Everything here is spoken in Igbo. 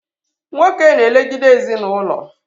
Nwoke na elegide ezinaụlọ